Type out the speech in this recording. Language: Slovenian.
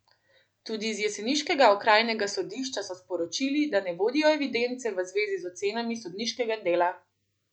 Tudi z jeseniškega okrajnega sodišča so sporočili, da ne vodijo evidence v zvezi z ocenami sodniškega dela!